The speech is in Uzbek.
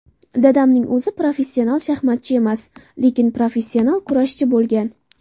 Dadamning o‘zi professional shaxmatchi emas, lekin, professional kurashchi bo‘lgan.